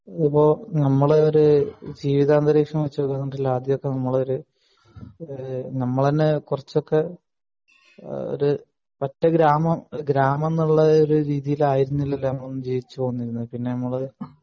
ആഹ് ഇപ്പൊ നമ്മൾ ഒരു ജീവിതാന്തരീക്ഷം വെച്ച് ആദ്യമൊക്കെ നമ്മളൊരു ഏഹ് നമ്മളെന്നെ കൊറച്ചൊക്കെ ഈഹ് ഒരു പറ്റ ഗ്രാമം ഗ്രാമം എന്നുള്ള ഒരു രീതിയിൽ ആയിരുന്നില്ലല്ലോ നമ്മൾ ഒന്നും ജീവിച്ച് വന്നിരുന്ന് പിന്നെ നമ്മൾ